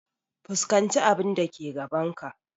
Fuskanci abun da ke gaban ka!